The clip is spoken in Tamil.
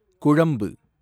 குழம்பு